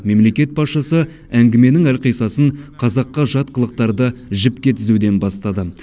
мемлекет басшысы әңгіменің әлқисасын қазаққа жат қылықтарды жіпке тізуден бастады